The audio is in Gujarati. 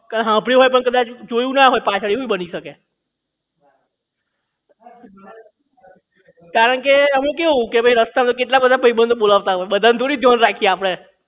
કે હામ્ભળ્યુ હોય પણ કદાચ જોયું ના હોય પાછળ એવું પણ બની શકે કારણકે અમે કેવું કે રસ્તા માં કેટલા બધા ભાઈબંધો બોલાવતા હોય બધાંયનું થોડી ધ્યાન રાખીએ આપડે